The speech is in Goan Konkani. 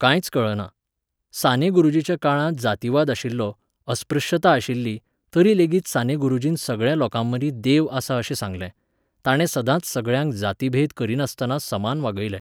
कांयच कळना. साने गुरूजीच्या काळांत जातीवाद आशिल्लो, अस्पृश्यता आशिल्ली, तरीलेगीत साने गुरूजीन सगळ्या लोकांमदीं देव आसा अशें सांगलें. ताणे सदांच सगळ्यांक जातीभेद करिनासतना समान वागयलें.